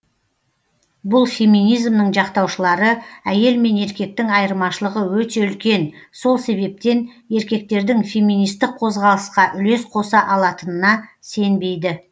бұл феминизмнің жақтаушылары әйел мен еркектің айырмашылығы өте үлкен сол себептен еркектердің феминистік қозғалысқа үлес қоса алатынына сенбейді